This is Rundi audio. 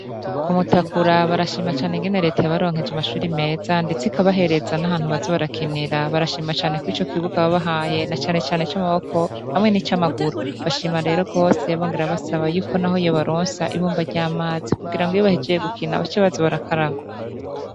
Kumutakura barashima cane ukuntu reta yabaronkeje amashure meza ndetse ikabahereza nahantu baza barakinira barshima cane kurico kibuga babahaye na cane cane i c'amaboko ndetse n'icamaguru barashima gose bongera basaba ko yobaronsa ibomba ry'amazi kugira iyo bahejeje gukina bace baza barakaraba.